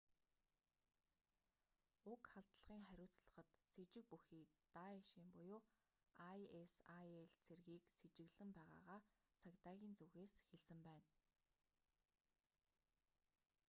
уг халдлагын хариуцлагад сэжиг бүхий даэшийн isil цэргийг сэжиглэж байгаагаа цагдаагийн зүгээс хэлсэн байна